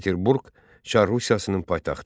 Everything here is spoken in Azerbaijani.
Peterburq Çar Rusiyasının paytaxtı.